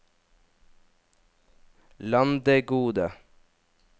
Landegode